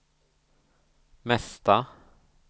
mesta